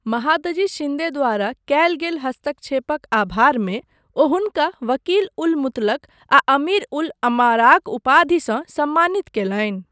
महादजी शिंदे द्वारा कयल गेल हस्तक्षेपक आभारमे ओ हुनका वकील उल मुतलक आ अमीर उल अमाराक उपाधिसँ सम्मानित कयलनि।